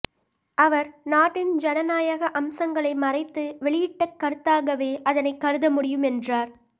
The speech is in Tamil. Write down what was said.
அவர் நாட்டின் ஜனநாயக அம்சங்களை மறைத்து வெளியிட்ட கருத்தாகவே அதனை கருத முடியும் என்றார்